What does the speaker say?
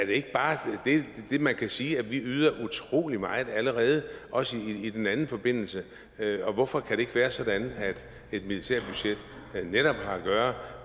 ikke bare det man kan sige at vi yder utrolig meget allerede også i den forbindelse og hvorfor kan det ikke være sådan at et militært budget netop har at gøre